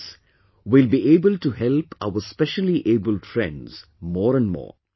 With this, we will be able to help our speciallyabled friends more and more